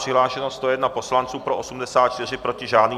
Přihlášeno 101 poslanců, pro 84, proti žádný.